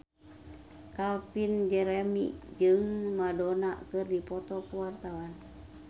Calvin Jeremy jeung Madonna keur dipoto ku wartawan